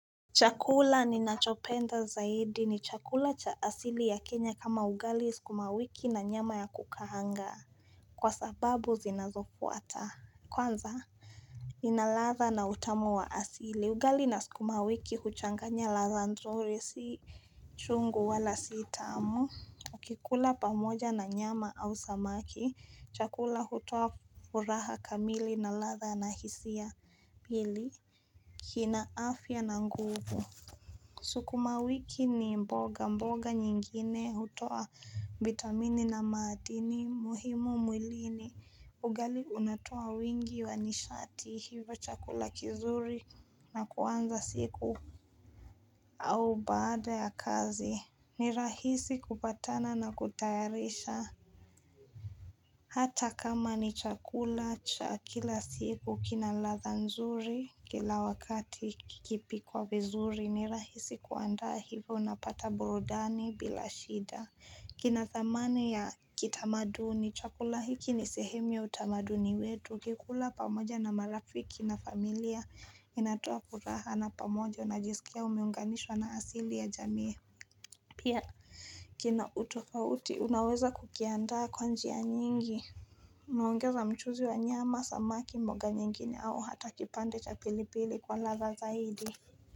Chakula ni nachopenda zaidi ni chakula cha asili ya Kenya kama ugali skuma wiki na nyama ya kukahanga kwa sababu zinazofuata kwanza ina ladha na utamu wa asili ugali na skuma wiki huchanganya ladha nzuri si chungu wala si tamu Ukikula pamoja na nyama au samaki chakula hutoa furaha kamili na ladha na hisia pili kina afya na nguvu Sukuma wiki ni mboga mboga nyingine hutoa vitamini na maadini muhimu mwilini ugali unatoa wingi wa nishati hivyo chakula kizuri na kuanza siku au baada ya kazi ni rahisi kupatana na kutayarisha Hata kama ni chakula cha kila siku kina ladha nzuri kila wakati kikipikwa vizuri ni rahisi kuandaa hivyo unapata burudani bila shida kina thamani ya kitamaduni chakula hiki ni sehemu ya utamaduni wetu ukikula pamoja na marafiki na familia inatoa kuraha na pamoja unajisikia umeunganishwa na asili ya jamiye Pia kina utofauti unaweza kukiandaa kwa njia nyingi Unaongeza mchuzi wa nyama samaki mboga nyengine au hata kipande cha pilipili kwa ladha zaidi.